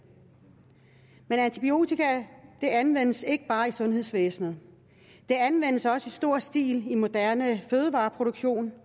men antibiotika anvendes ikke bare i sundhedsvæsenet det anvendes også i stor stil i moderne fødevareproduktion